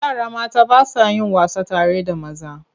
Yara mata ba sa yin wasa tare da maza.